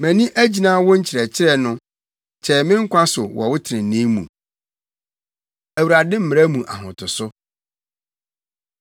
Mʼani agyina wo nkyerɛkyerɛ no! Kyɛe me nkwa so wɔ wo trenee mu. Awurade Mmara Mu Ahotoso